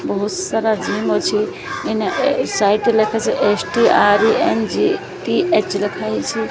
ବହୁତ୍ ସାରା ଜିମ୍ ଅଛି। ଇନା ସାଇଟ୍ ରେ ଲେଖିଛି। ଏସ_ଟି_ଆର୍_ଇ_ଏମ୍_ଜି_ଟି_ଏଚ ଲେଖହେଇଛି।